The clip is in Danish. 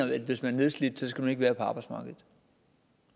man hvis man er nedslidt skal være på arbejdsmarkedet